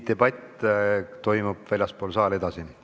Debatt toimub väljaspool saali edasi.